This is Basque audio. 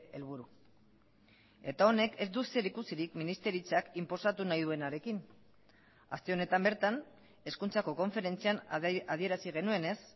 helburu eta honek ez du zerikusirik ministeritzak inposatu nahi duenarekin aste honetan bertan hezkuntzako konferentzian adierazi genuenez